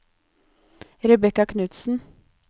Rebecca Knudsen